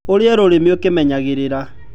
ũrĩe rũrĩmĩ ũkĩmenyagĩrĩra